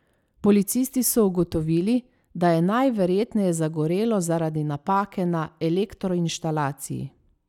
Policisti so ugotovili, da je najverjetneje zagorelo zaradi napake na elektroinštalaciji.